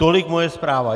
Tolik moje zpráva.